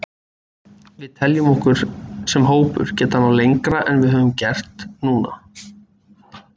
Við teljum okkur sem hópur geta náð lengra en við höfum gert núna.